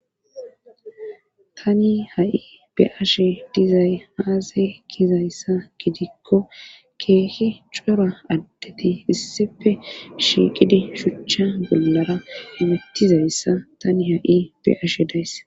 Tani ha'i be ashe dizay aazay kizayssa gidikko keehi cora addeti issife shiiqidi shuchcha bollara hemutizayssa tani ha7i be ashe dayss